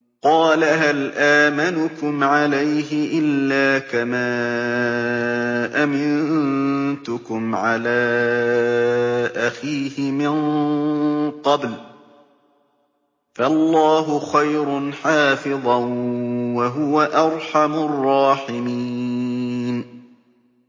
قَالَ هَلْ آمَنُكُمْ عَلَيْهِ إِلَّا كَمَا أَمِنتُكُمْ عَلَىٰ أَخِيهِ مِن قَبْلُ ۖ فَاللَّهُ خَيْرٌ حَافِظًا ۖ وَهُوَ أَرْحَمُ الرَّاحِمِينَ